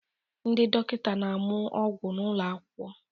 Ndị dọkịta na-amụ ọgwụ n'ụlọ akwụkwọ